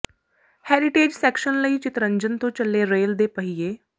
heritage section ਲਈ ਚਿਤਰੰਜਨ ਤੋਂ ਚੱਲੇ ਰੇਲ ਦੇ ਪਹੀਏ